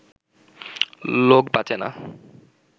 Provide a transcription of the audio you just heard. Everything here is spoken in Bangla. লোক বাঁচে না